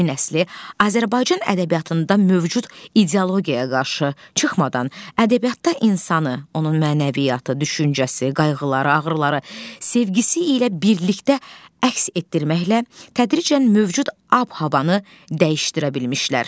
Yeni nəsil Azərbaycan ədəbiyyatında mövcud ideologiyaya qarşı çıxmadan, ədəbiyyatda insanı, onun mənəviyyatı, düşüncəsi, qayğıları, ağrıları, sevgisi ilə birlikdə əks etdirməklə tədricən mövcud ab-havanı dəyişdirə bilmişlər.